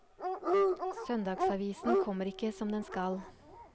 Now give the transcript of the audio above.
Søndagsavisen kommer ikke som den skal.